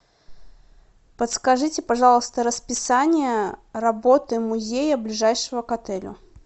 подскажите пожалуйста расписание работы музея ближайшего к отелю